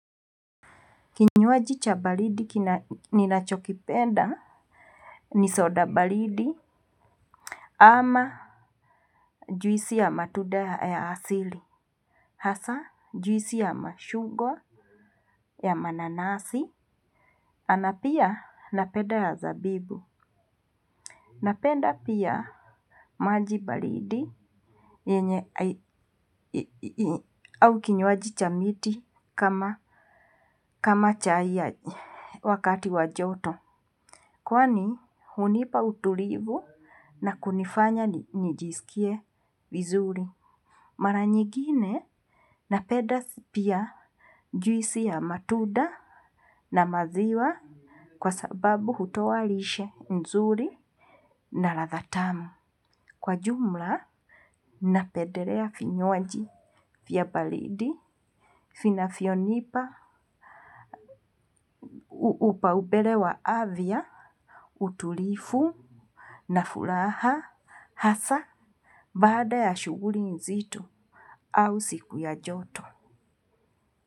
Kinywaji cha baridi ninacho kipenda ni soda balidi ama juisi ya matunda ya asili. Hasa juisi ya mashungwa ya mananasi. Na pia, napenda ya zabibu. Napenda pia maji baridi. Au kinywaji cha miti, kama chai wakati wa joto. Kwani hunipa utulivu na kunifanya nijisikie vizuri. Mara nyigine napenda pia, juisi ya matunda na maziwa, kwa sababu hutoa walishe nzuri na radha tamu. Kwa jumla, napendelea vinywaji, vya baridi, vinavyonipa, upau mbele afya, utulivu, na furaha, hasa, baada ya shughuli nzito, au siku ya joto.